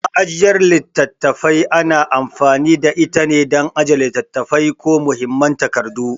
Ma'ajiyar littattafai ana amfani da itane dan ajiye littattafai ko muhimman takardu.